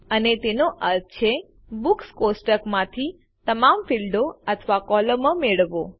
અહીં તેનો અર્થ છે બુક્સ કોષ્ટક માંથી તમામ ફીલ્ડો અથવા કોલમો મેળવો